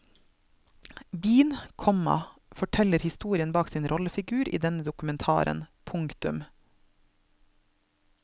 Bean, komma forteller historien bak sin rollefigur i denne dokumentaren. punktum